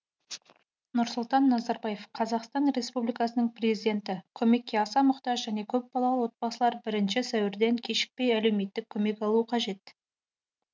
нұрсұлтан назарбаев қазақстан республикасының президенті көмекке аса мұқтаж және көпбалалы отбасылар бірінші сәуірден кешікпей әлеуметтік көмек алуы қажет